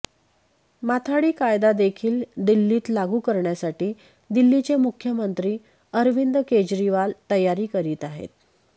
माथाडी कायदादेखील दिल्लीत लागू करण्यासाठी दिल्लीचे मुख्यमंत्री अरविंद केजरीवाल तयारी करीत आहेत